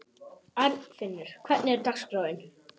Arnfinnur, hvernig er dagskráin?